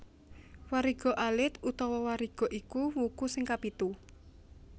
Wariga alit utawa Wariga iku wuku sing kapitu